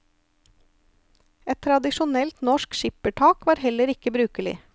Et tradisjonelt norsk skippertak var heller ikke brukelig.